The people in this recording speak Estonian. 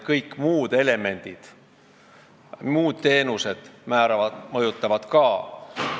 Kõik muud elemendid, muud teenused mõjutavad ka.